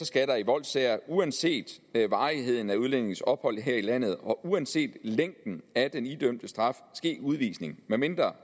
skal der i voldssager uanset varigheden af udlændingens ophold her i landet og uanset længden af den idømte straf ske udvisning medmindre